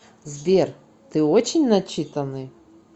сбер ты очень начитанный